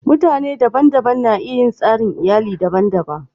Mutane daban-daban na iya yin tsarin iyalli daban-daban.